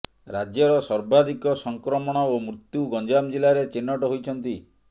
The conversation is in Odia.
ରାଜ୍ୟର ସର୍ବାଧିକ ସଂକ୍ରମଣ ଓ ମୃତ୍ୟୁ ଗଞ୍ଜାମ ଜିଲ୍ଲାରେ ଚିହ୍ନଟ ହୋଇଛନ୍ତି